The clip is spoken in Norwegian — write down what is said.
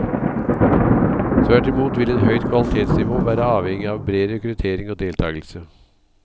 Tvert imot vil et høyt kvalitetsnivå være avhengig av bred rekruttering og deltakelse.